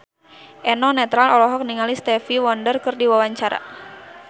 Eno Netral olohok ningali Stevie Wonder keur diwawancara